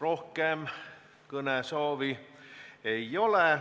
Rohkem kõnesoove ei ole.